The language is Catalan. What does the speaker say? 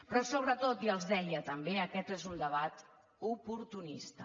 però sobretot i els ho deia també aquest és un debat oportunista